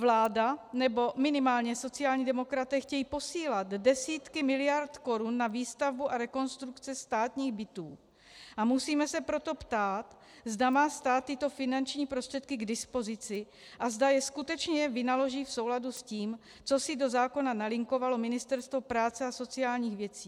Vláda, nebo minimálně sociální demokraté chtějí posílat desítky miliardy korun na výstavbu a rekonstrukce státních bytů, a musíme se proto ptát, zda má stát tyto finanční prostředky k dispozici a zda je skutečně vynaloží v souladu s tím, co si do zákona nalinkovalo Ministerstvo práce a sociálních věcí.